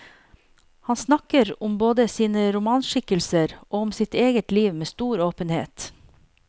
Han snakker om både sine romanskikkelser og om sitt eget liv med stor åpenhet.